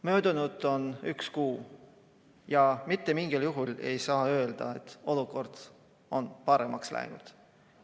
Möödunud on üks kuu ja mitte mingil juhul ei saa öelda, et olukord on paremaks läinud.